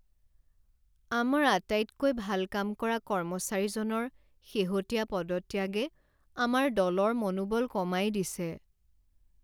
আমাৰ আটাইতকৈ ভাল কাম কৰা কৰ্মচাৰীজনৰ শেহতীয়া পদত্যাগে আমাৰ দলৰ মনোবল কমাই দিছে।